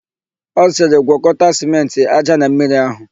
Ọ sịrị, "gwọkọta sịmentị, ája na mmiri áhụ̀"!